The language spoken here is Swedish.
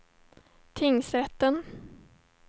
tingsrätten